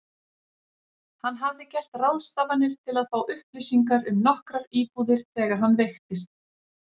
Hann hafði gert ráðstafanir til að fá upplýsingar um nokkrar íbúðir þegar hann veiktist.